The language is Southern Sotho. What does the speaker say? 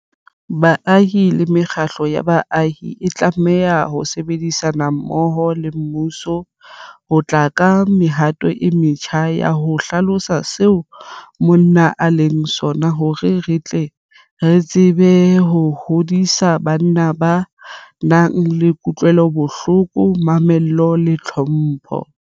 Baahi le mekgatlo ya baahi e tlameha ho sebedisana mmoho le mmuso ho tla ka mehato e metjha ya ho hlalosa seo monna e leng sona hore re tle re tsebe ho hodisa banna ba nang le kutlwelobohloko, mamello le tlhompho.